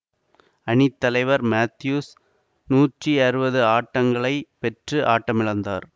அணி தலைவர் மெத்தியூஸ் நூற்றி அறுபது ஆட்டங்களை பெற்று ஆட்டமிழந்தார்